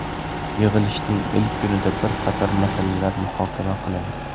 Yig‘ilishning ilk kunida bir qator masalalar muhokama qilindi.